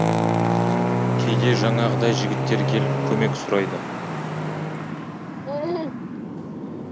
кейде жаңағыдай жігіттер келіп көмек сұрайды